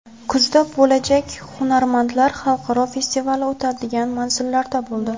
Kuzda bo‘lajak Hunarmandlar xalqaro festivali o‘tadigan manzillarda bo‘ldi.